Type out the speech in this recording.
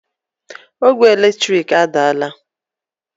Ogwe eletrik adaala